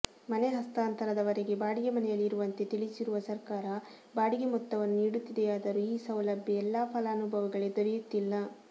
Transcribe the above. ಮನೆ ಹಸ್ತಾಂತರದ ವರೆಗೆ ಬಾಡಿಗೆ ಮನೆಯಲ್ಲಿರುವಂತೆ ತಿಳಿಸಿರುವ ಸರ್ಕಾರ ಬಾಡಿಗೆ ಮೊತ್ತವನ್ನು ನೀಡುತ್ತಿದೆಯಾದರೂ ಈ ಸೌಲಭ್ಯ ಎಲ್ಲಾ ಫಲಾನುಭವಿಗಳಿಗೆ ದೊರೆಯುತ್ತಿಲ್ಲ